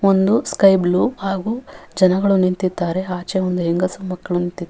ಒಂದು sky blue ಹಾಗು ಜನಗಳು ನಿಂತಿದ್ದಾರೆ ಆಚೆ ಒಂದು ಹೆಂಗಸು ಮಕ್ಕಳು ನಿಂತಿ --